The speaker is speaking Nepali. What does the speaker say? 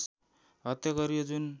हत्या गरियो जुन